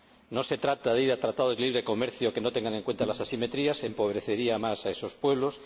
No se trata de ir a tratados de libre comercio que no tengan en cuenta las asimetrías, ya que ello empobrecería más a esos pueblos.